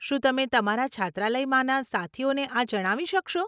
શું તમે તમારા છાત્રાલયમાંના સાથીઓને આ જણાવી શકશો?